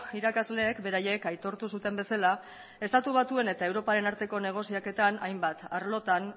irakasleek beraiek aitortu zuten bezala estatu batuen eta europaren arteko negoziaketan hainbat arlotan